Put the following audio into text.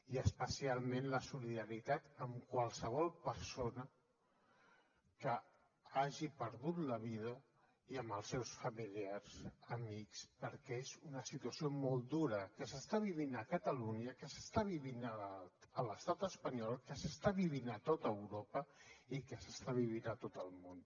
i especialment la solidaritat amb qualsevol persona que hagi perdut la vida i amb els seus familiars amics perquè és una situació molt dura que s’està vivint a catalunya que s’està vivint a l’estat espanyol que s’està vivint a tot europa i que s’està vivint a tot el món